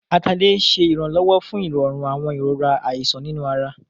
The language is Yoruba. Atalẹ̀ ṣé ìrànlọ́wọ́ fún ìrọ̀rùn àwọn ìrora ìṣàn nínú ara